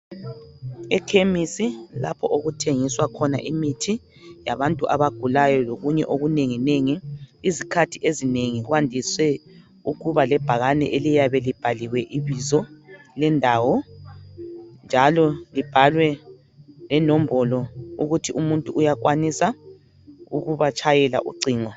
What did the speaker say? Ekhemisi lapho okuthengiswa khona imithi yabantu abagulayo lokunye okunengi nengi izikhathi ezinengi kuyabe kubhaliwe ibizo lendawo njalo kubhalwe lenombolo yokuthi umuntu uyakwanisa ukuba tshayela ucingo.